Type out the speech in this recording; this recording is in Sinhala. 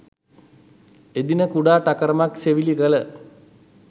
එදින කුඩා ටකරමක් සෙවිලි කළ